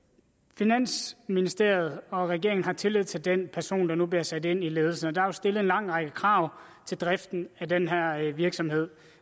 finansministeriet og regeringen har tillid til den person der nu bliver sat ind i ledelsen der er stillet en lang række krav til driften af denne virksomhed